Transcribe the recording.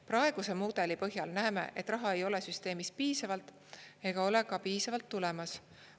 Praeguse mudeli põhjal näeme, et raha ei ole süsteemis piisavalt ega ole ka piisavalt tulemas.